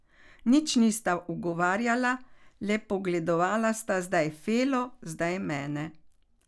Nič nista ugovarjala, le pogledovala sta zdaj Felo zdaj mene.